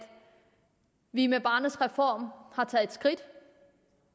vi med barnets reform har taget et skridt